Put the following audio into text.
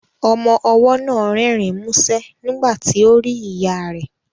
Ọmọ ọwọ́ náà rẹ́rìn músẹ́ nígbà tí ó rí ìyá rẹ̀